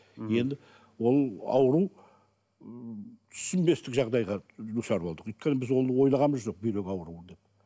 енді ол ауру түсінбестік жағдайға душар болдық өйткені біз ол ойлағанымыз жоқ бүйрек ауруы деп